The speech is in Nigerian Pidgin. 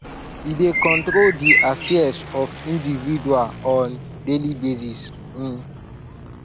e dey control de affairs of indiviual on daily basis um